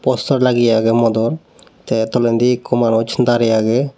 poster lageya agey modor ta tolandi ekkho manus darey agey.